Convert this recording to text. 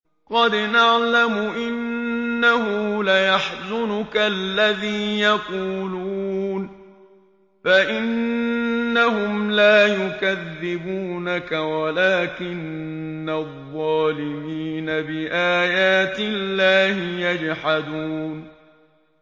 قَدْ نَعْلَمُ إِنَّهُ لَيَحْزُنُكَ الَّذِي يَقُولُونَ ۖ فَإِنَّهُمْ لَا يُكَذِّبُونَكَ وَلَٰكِنَّ الظَّالِمِينَ بِآيَاتِ اللَّهِ يَجْحَدُونَ